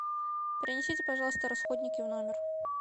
принесите пожалуйста расходники в номер